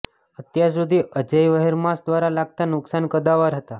અત્યાર સુધી અજેય વ્હેરમાશ દ્વારા લાગતા નુકસાન કદાવર હતા